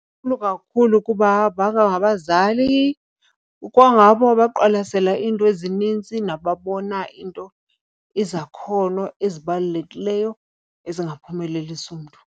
Inkulu kakhulu kuba baba ngabazali, ikwangabo abaqwalasela iinto ezinintsi nababona iinto izakhono ezibalulekileyo ezingaphumelelisa umntu.